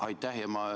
Aitäh!